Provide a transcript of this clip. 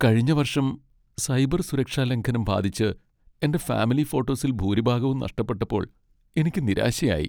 കഴിഞ്ഞ വർഷം സൈബർ സുരക്ഷാലംഘനം ബാധിച്ച് എന്റെ ഫാമിലി ഫോട്ടോസിൽ ഭൂരിഭാഗവും നഷ്ടപ്പെട്ടപ്പോൾ എനിക്ക് നിരാശയായി.